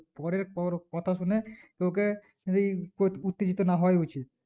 পরের পর কথা শুনে তোকে ওই উত্তেজিত না হওয়া উচিত